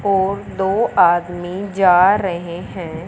और दो आदमी जा रहे हैं।